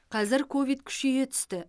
қазір ковид күшейе түсті